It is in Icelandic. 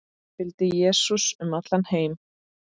Fylgdu Jesú um allan heim